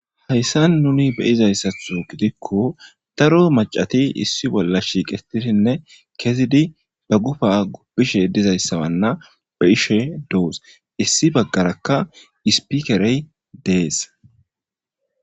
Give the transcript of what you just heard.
Hayssan nuni be'izayssatho gidikko daro macati issi bolla shiiqetidinne kezidi ba gufa gubbishe dizayssawanna ba'ishe doos issi baggarakka ispikerey dees.